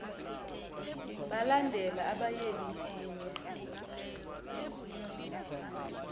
balandela abayeni kunye